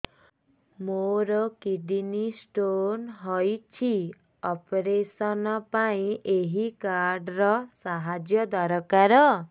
ମୋର kidney stone ହଇଛି operation ପାଇଁ ଏହି କାର୍ଡ ର ସାହାଯ୍ୟ ଦରକାର